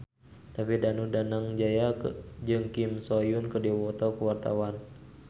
David Danu Danangjaya jeung Kim So Hyun keur dipoto ku wartawan